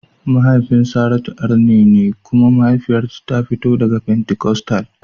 Mahaifin Saratu arne ne kuma mahaifiyarta ta fito daga fentikostal.